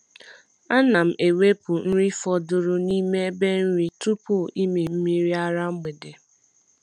A na m ewepụ nri fọdụrụ n’ime ebe nri tupu ịmị mmiri ara mgbede. ara mgbede.